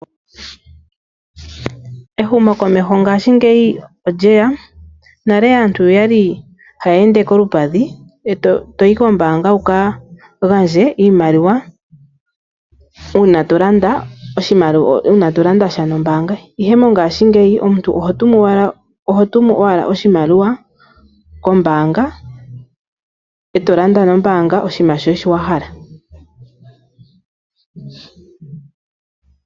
Ehumokomeho ngaashingeyi olyeya. Nale aantu oyali haya ende kolupadhi toyi kombanga wuka gandje iimaliwa una to landa sha nombanga. Ihe mongashingeyi omuntu oho tumu owala oshimaliwa kombanga eto landa kehe shimwe wahala.